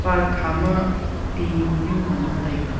park kha ma te muhnu mang nga taiga.